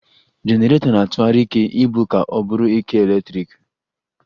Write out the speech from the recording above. Jenerato na-atụghari ike ibu ka o bụrụ ike eletriki